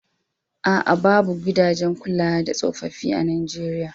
A'a, babu gidajen kula da tsofaffi a Nijeriya